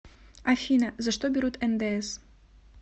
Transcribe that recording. афина за что берут ндс